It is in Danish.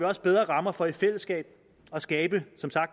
også bedre rammer for i fællesskab at skabe